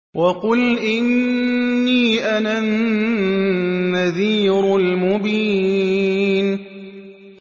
وَقُلْ إِنِّي أَنَا النَّذِيرُ الْمُبِينُ